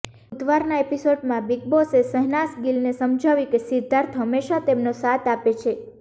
બુધવારના એપિસોડમાં બિગ બોસે શહનાઝ ગિલને સમજાવ્યું કે સિદ્ધાર્થ હંમેશાં તેમનો સાથ આપે છે